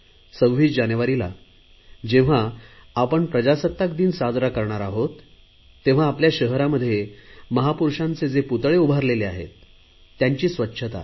26 जानेवारीला जेव्हा आपण प्रजासत्ताक दिन साजरा करणार तेव्हा आपल्या शहरात महापुरुषांचे जे पुतळे उभारलेले आहेत त्यांची स्वच्छता